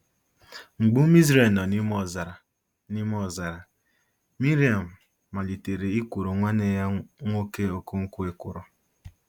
Mgbe ụmụ Izrel nọ n’ime ọzara, n’ime ọzara, Miriam malitere i kworo nwanne ya nwoke Okonkwo ekworo.